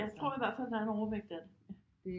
Jeg tror i hvert fald der er en overvægt af det